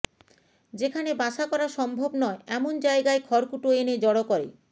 যেখানে বাসা করা সম্ভব নয় এমন জায়গায় খড়কুটো এনে জড়ো করে